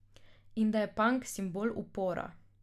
In da je pank simbol upora.